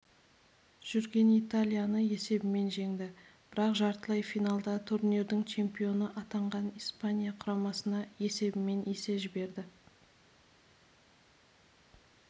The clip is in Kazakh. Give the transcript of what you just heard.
жүрген италияны есебімен жеңді бірақ жартылай финалда турнирдің чемпионы атанған испания құрамасына есебімен есе жіберді